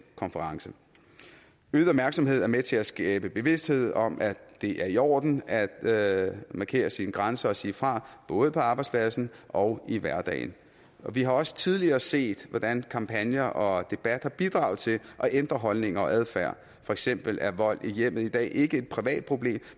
konference øget opmærksomhed er med til at skabe bevidsthed om at det er i orden at at markere sine grænser og sige fra både på arbejdspladsen og i hverdagen vi har også tidligere set hvordan kampagner og debatter bidrager til at ændre holdninger og adfærd for eksempel er vold i hjemmet i dag ikke et privat problem